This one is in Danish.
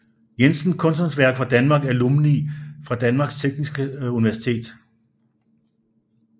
Jensen Kunsthåndværkere fra Danmark Alumni fra Danmarks Tekniske Universitet